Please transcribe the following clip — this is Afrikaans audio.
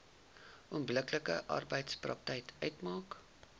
onbillike arbeidspraktyk uitmaak